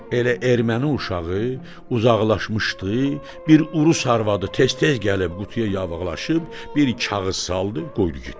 Elə erməni uşağı uzaqlaşmışdı, bir urus arvadı tez-tez gəlib qutuya yavıqlaşıb, bir kağız saldı, qoydu getdi.